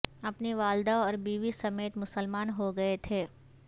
اپنی والدہ اور بیوی سمیت مسلمان ہو گئے تھے